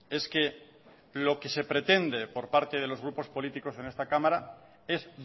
es que lo que se pretende por parte de los grupos políticos en esta cámara es